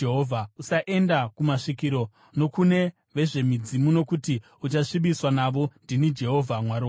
“ ‘Usaenda kumasvikiro nokune vezvemidzimu nokuti uchasvibiswa navo. Ndini Jehovha Mwari wako.